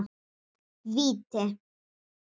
Víti!